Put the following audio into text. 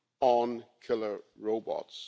on killer robots.